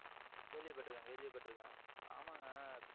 கேள்விப்பட்டிருக்கேன் கேள்விப்பட்டிருக்கேன் ஆமாங்க